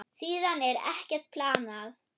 Síðan er ekkert planað.